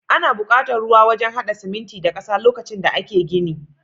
Ana bukatar ruwa wajan hada siminti da ƙasa lokacin da ake gini.